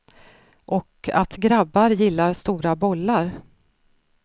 Och att grabbar gillar stora bollar.